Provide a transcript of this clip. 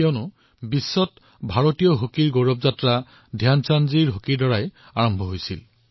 কাৰণ ধ্যান চাঁদজীৰ হকীয়ে বিশ্বত ভাৰতৰ বিজয়ডংকা বজোৱাৰ কাম কৰিছিল